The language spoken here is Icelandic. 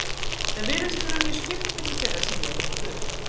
það virðist vera mjög skipt milli þeirra sem ég hef spurt